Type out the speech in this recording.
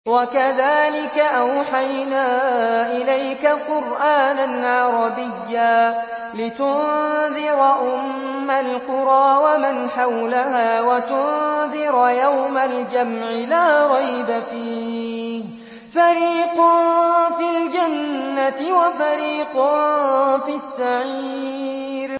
وَكَذَٰلِكَ أَوْحَيْنَا إِلَيْكَ قُرْآنًا عَرَبِيًّا لِّتُنذِرَ أُمَّ الْقُرَىٰ وَمَنْ حَوْلَهَا وَتُنذِرَ يَوْمَ الْجَمْعِ لَا رَيْبَ فِيهِ ۚ فَرِيقٌ فِي الْجَنَّةِ وَفَرِيقٌ فِي السَّعِيرِ